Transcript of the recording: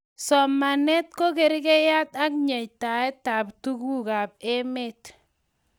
somanee ko kerkeiak nyeitaetab tukuk ab emet